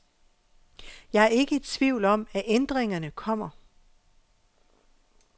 Jeg er ikke i tvivl om, at ændringerne kommer.